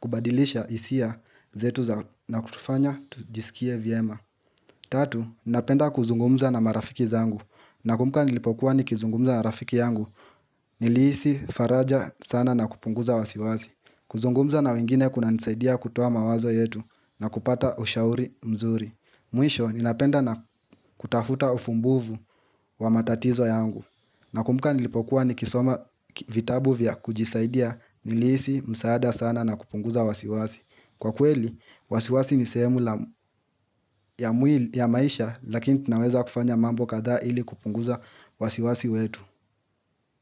kubadilisha hisia zetu za na kutufanya tujisikie vyema Tatu, nina penda kuzungumza na marafiki zangu na kumbuka nilipokuwa ni kizungumza na rafiki yangu Nilihisi faraja sana na kupunguza wasiwazi kuzungumza na wengine kuna nisaidia kutoa mawazo yetu na kupata ushauri mzuri Mwisho, nina penda na kutafuta ufumbuvu wa matatizo yangu na kumbuka nilipokuwa ni kisoma vitabu vya kujisaidia nilihisi, msaada sana na kupunguza wasiwasi Kwa kweli, wasiwasi ni sehemu ya maisha lakini tunaweza kufanya mambo katha ili kupunguza wasiwasi wetu.